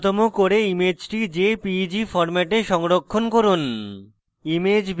শক্তি নুন্যতম করে ইমেজটি jpeg ফরম্যাটে সংরক্ষণ করুন